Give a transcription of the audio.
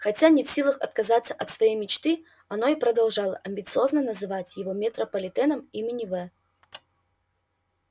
хотя не в силах отказаться от своей мечты оно и продолжало амбициозно называть его метрополитеном имени в